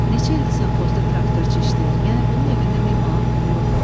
Neçə ildi savxozda traktorçu işləyir, yəni bunun evində min manat pulu yoxdur.